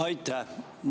Aitäh!